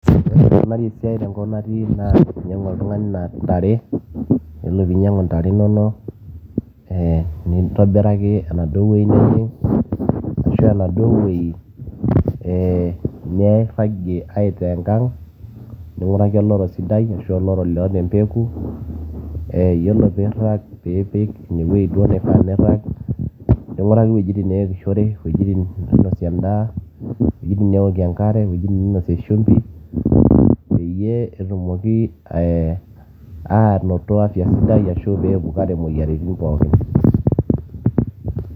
ore enikunari esiai tenkop natii naa inyiang'u oltung'ani intare yiolo piinyiang'u intare inonok ee nintobiraki enaduo wueji nejing ashua enaduo wueji ee nairragie aitaa enkang ning'uraki oloro sidai ashu oloro loota empeku yiolo piirag piipik inewueji duo nifaa nirrag ning'uraki iwuejitin neepishore iwuejitin nainosie endaa iwuejitin neewokie enkare iwuejitin niinosie shumbi peyie etumoki anoto afya sidai ashu peepukare imoyiaritin pookin.